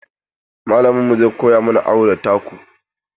Malaminmu zai koya mana awo da taku.